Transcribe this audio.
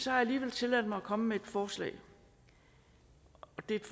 har alligevel tilladt mig at komme med et forslag og det er et